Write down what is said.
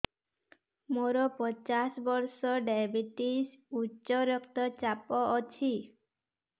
ମୋର ପଚାଶ ବର୍ଷ ଡାଏବେଟିସ ଉଚ୍ଚ ରକ୍ତ ଚାପ ଅଛି